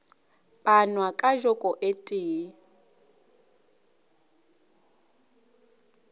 panwa ka joko e tee